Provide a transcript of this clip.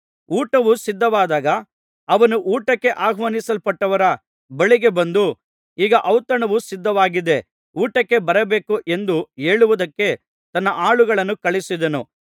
ಊಟವು ಸಿದ್ಧವಾದಾಗ ಅವನು ಊಟಕ್ಕೆ ಆಹ್ವಾನಿಸಲ್ಪಟ್ಟವರ ಬಳಿಗೆ ಬಂದು ಈಗ ಔತಣವು ಸಿದ್ಧವಾಗಿದೆ ಊಟಕ್ಕೆ ಬರಬೇಕು ಎಂದು ಹೇಳುವುದಕ್ಕೆ ತನ್ನ ಆಳನ್ನು ಕಳುಹಿಸಿದನು